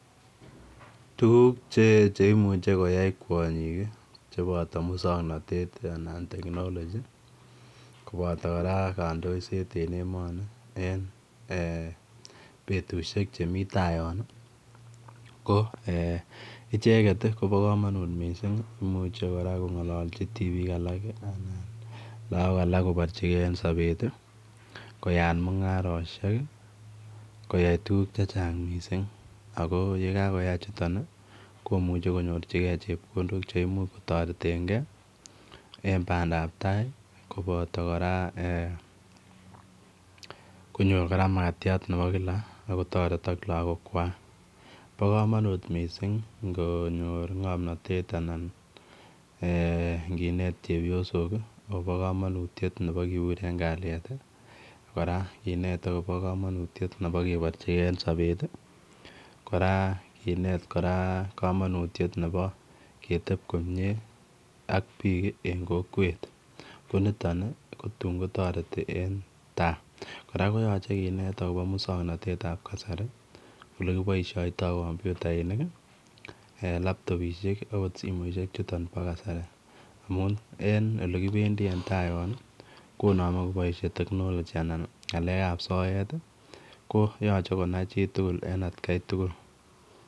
Tukuk cheech cheimuche koyai kwonyik cheboto muswong'natet anan technology koboto kora kandoiset en emoni en betushiek chemi tai yon ko icheget kobo kamanut mising' imuche kora kong'ololji tibiik alak lakok alak koborchigei sobet koyait mung'aroshek koyat tukuk chechang' mising' ako yekakoyai chuton komuche konyorchigei chepkondok cheimuch kotoretengei en bandaptai koboto kora koyor kora makatyat nebo kila akotoretok lakokwak bo kamanut mising' ngonyor ng'omnotet anan nginet chepyosok akobo kamanutiyet nebo kebut en kalyet kora kinet akobo kamanutiyet nebo kenborchigei sobet kora kinet kora kamanutiyet nebo ketep komyee ak biik eng' kokwet ko niton ko tuun kotoreti en tai kora koyochei kinet akobo muswong'natetab kasari ole kipoishoitoi kompyutainik laptopishek akot simoishek chuton bo kasari amun en olekibendi en tai yon konome koboishe technology anan ng'alekab soet koyochei konai chitugul eng' atkaitugul